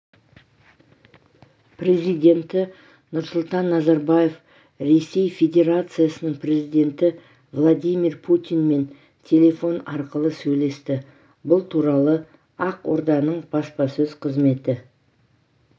президенті нұрсұлтан назарбаев ресей федерациясының президенті владимир путинмен телефон арқылы сөйлесті бұл туралы ақорданың баспасөз қызметі